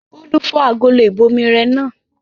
Bólú fọ́ agolo ìbomirẹ náà.